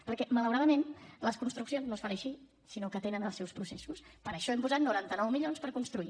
perquè malauradament les construccions no es fan així sinó que tenen els seus processos per això hem posat noranta nou milions per construir